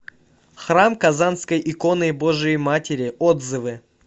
храм казанской иконы божией матери отзывы